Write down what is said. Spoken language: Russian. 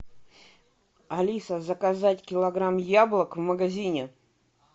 алиса заказать килограмм яблок в магазине